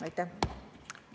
Aitäh!